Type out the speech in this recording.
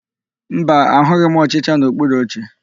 Mba, ahụghị m ọchịcha n'okpuru oche.